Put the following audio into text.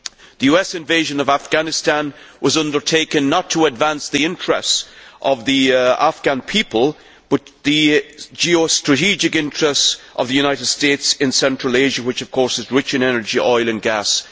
The US invasion of Afghanistan was undertaken not to advance the interests of the Afghan people but the geostrategic interests of the United States in Central Asia, which of course is rich in energy, oil and gas.